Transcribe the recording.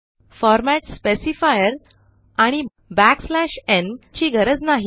format स्पेसिफायरआणि न् ची गरज नाही